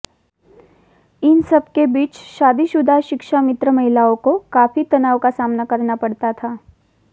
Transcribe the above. इन सब के बीच शादीशुदा शिक्षामित्र महिलाओं को काफी तनाव का सामना करना पड़ता था